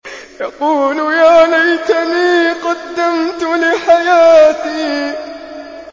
يَقُولُ يَا لَيْتَنِي قَدَّمْتُ لِحَيَاتِي